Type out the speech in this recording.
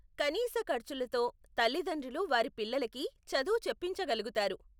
కనీస ఖర్చులతో తల్లితండ్రులు వారి పిల్లలకి చదువు చెప్పించగలుగుతారు.